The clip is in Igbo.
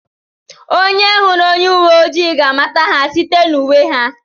Onye hụrụ onye uwe ojii ga-amata ha site n'uwe ha